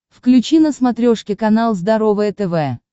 включи на смотрешке канал здоровое тв